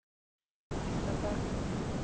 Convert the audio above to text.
Ystadal